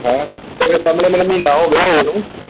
ਹੈਂ, ਤੇ ਸਾਹਮਣੇ ਮੈਨੂੰ ਮਹੀਨਾ ਹੋਗਿਆ ਆਏ ਨੂੰ,